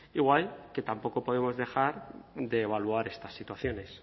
igual que tampoco podemos dejar de evaluar estas situaciones